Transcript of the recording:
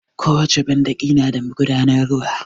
Ko wace banɗaki na da magudanan ruwa